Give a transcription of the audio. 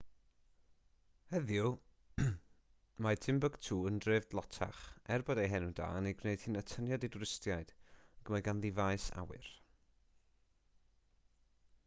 heddiw mae timbuktu yn dref dlotach er bod ei henw da yn ei gwneud hi'n atyniad i dwristiaid ac mae ganddi faes awyr